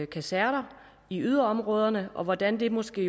kaserner i yderområderne og hvordan det måske